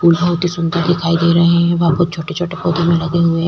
सुन्दर दिखाई दे रहे है। वहां पर छोटे-छोटे पौधे में लगे हुए हैं।